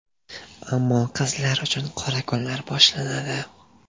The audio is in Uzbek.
Ammo qizlar uchun qora kunlar boshlanadi.